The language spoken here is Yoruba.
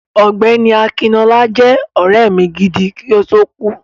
Ọ̀gbẹ́ni Akinọlá jẹ́ ọ̀rẹ́ mi gidi, kí ó tó kú.